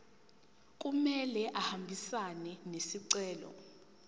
kumele ahambisane nesicelo